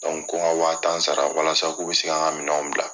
ko ka waa tan sara walasa k'u bɛ se kanan ka minɛnw bila